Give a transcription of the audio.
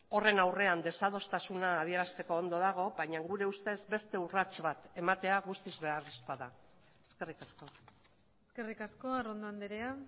horren aurrean desadostasuna adierazteko ondo dago baina gure ustez beste urrats bat ematea guztiz beharrezkoa da eskerrik asko eskerrik asko arrondo andrea